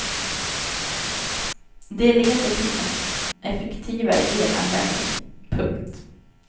Det leder till en effektivare elanvändning. punkt